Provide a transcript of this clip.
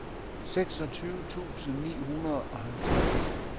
seksogtyve tusind ni hundrede og halvtreds